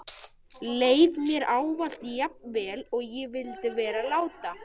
Leið mér ávallt jafn vel og ég vildi vera láta?